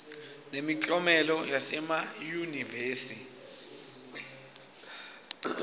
nemiklomelo yasema yunivesi